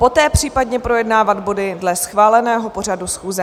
Poté případně projednávat body dle schváleného pořadu schůze.